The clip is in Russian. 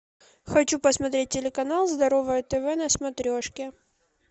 хочу посмотреть телеканал здоровое тв на смотрешке